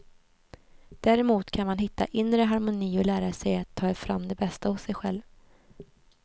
Däremot kan man hitta inre harmoni och lära sig att ta fram det bästa hos sig själv.